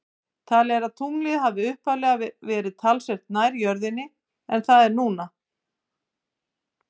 Talið er að tunglið hafi upphaflega verið talsvert nær jörðinni en það er núna.